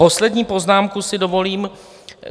Poslední poznámku si dovolím.